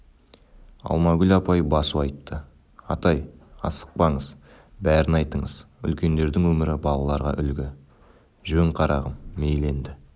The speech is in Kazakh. алмагүл апай басу айтты атай асықпаңыз бәрін айтыңыз үлкеңдердің өмірі балаларға үлгі жөн қарағым мейлі енді